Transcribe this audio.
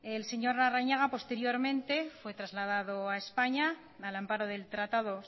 el señor larrañaga posteriormente fue trasladado a españa al amparo del tratado